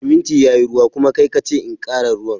Siminti yayi ruwa, kuma kai kace in kara ruwan.